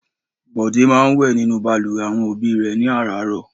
Bọ̀dé máa ń wẹ̀ nínú balùwẹ̀ àwọn òbí rẹ̀ ní àràárọ̀.